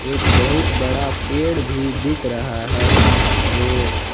एक बहुत बड़ा पेड़ भी दिख रहा है बाहर में।